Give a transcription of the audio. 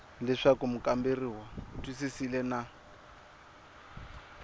leswaku mukamberiwa u twisisile na